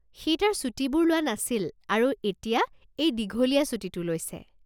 সি তাৰ ছুটীবোৰ লোৱা নাছিল আৰু এতিয়া এই দীঘলীয়া ছুটীটো লৈছে।